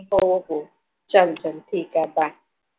हो हो चल चल ठीक आहे Bye